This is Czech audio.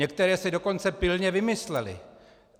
Některé si dokonce pilně vymysleli.